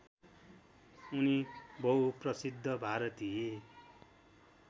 उनी बहुप्रसिद्ध भारतीय